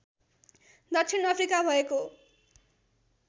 दक्षिण अफ्रिका भएको